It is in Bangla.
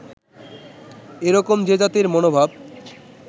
এই রকম যে জাতির মনভাব